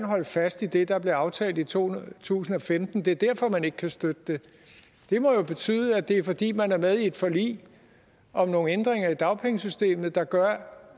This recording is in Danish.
holde fast i det der blev aftalt i to tusind og femten det er derfor man ikke kan støtte det det må jo betyde at det er fordi man er med i et forlig om nogle ændringer i dagpengesystemet der gør